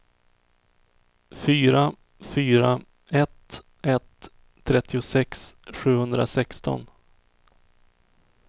fyra fyra ett ett trettiosex sjuhundrasexton